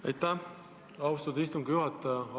Aitäh, austatud istungi juhataja!